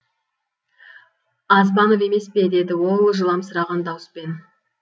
азбанов емес пе деді ол жыламсыраған дауыспен